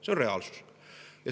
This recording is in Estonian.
See on reaalsus.